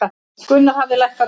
Gunnar hafði lækkað röddina.